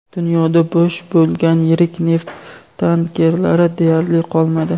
Dunyoda bo‘sh bo‘lgan yirik neft tankerlari deyarli qolmadi.